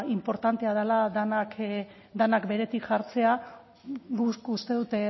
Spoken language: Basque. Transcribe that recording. inportantea dela denak beretik jartzea guk uste dut